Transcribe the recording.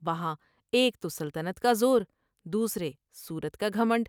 وہاں ایک تو سلطنت کا زور دوسرے صورت کا گھمنڈ ۔